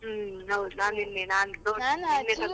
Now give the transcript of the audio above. ಹ್ಮ್ ಹೌದು ನಾನು ನಿನ್ನೆ ನಾನ್ .